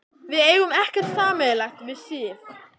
Við eigum ekkert sameiginlegt við Sif.